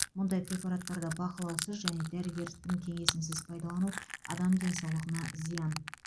мұндай препараттарды бақылаусыз және дәрігердің кеңесінсіз пайдалану адам денсаулығына зиян